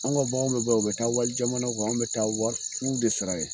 An ka baganw be bɔ yan aw be taa wali jamana kan anw be taa wari fu de sara ye